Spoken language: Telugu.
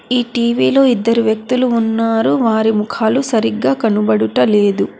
ఈ టీ_వీ లో ఇద్దరు వ్యక్తులు ఉన్నారు వారి ముఖాలు సరిగ్గా కనబడుటలేదు.